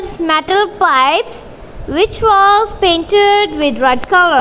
metal pipes which was painted with red colour.